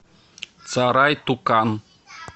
царай тукан